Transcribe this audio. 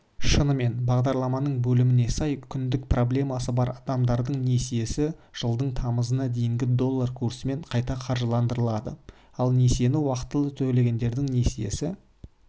шынымен бағдарлааманың бөліміне сай күндік проблемасы бар адамдардың несиесі жылдың тамызына дейінгі доллар курсымен қайтаа қаржыландырылады ал несиені уақытылы төлегендердің несиесі